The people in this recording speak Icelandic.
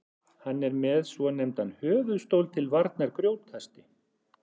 hann er með svonefndan höfuðstól til varnar grjótkasti